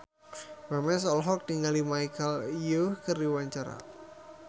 Memes olohok ningali Michelle Yeoh keur diwawancara